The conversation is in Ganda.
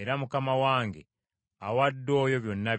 era mukama wange awadde oyo byonna by’alina.